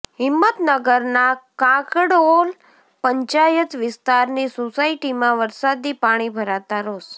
હિંમતનગરના કાંકણોલ પંચાયત વિસ્તારની સોસાયટીમાં વરસાદી પાણી ભરાતાં રોષ